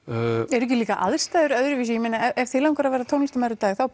eru ekki líka aðstæður öðruvísi ef þig langar að verða tónlistarmaður í dag þá